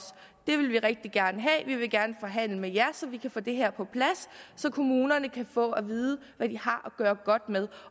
det vil vi rigtig gerne have vi vil gerne forhandle med jer så vi kan få det her på plads så kommunerne kan få at vide hvad de har at gøre godt med